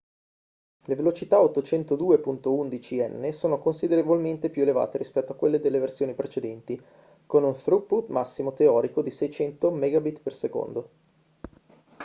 le velocità 802.11n sono considerevolmente più elevate rispetto a quelle delle versioni precedenti con un throughput massimo teorico di 600 mbps